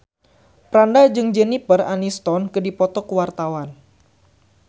Franda jeung Jennifer Aniston keur dipoto ku wartawan